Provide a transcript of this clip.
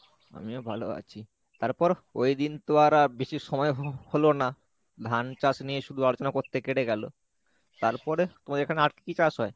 আমিও ভালো আছি তারপর ? ঐদিন তো আর আর বেশি সময় হ~ হলো না , ধান চাষ নিয়ে শুধু আলোচনা করতে কেটে গেলো , তারপরে তোমাদের এখানে আর কী চাষ হয়?